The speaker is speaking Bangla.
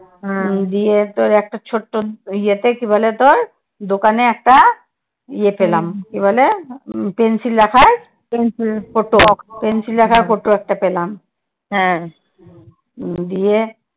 গিয়ে তোর একটা ছোট্ট ইয়ে তে কি বলে তোর? দোকানে একটা ইয়ে পেলাম কি বলে? Pencil রাখার pencil ফটক Pencil রাখার ফটক একটা পেলাম হম দিয়ে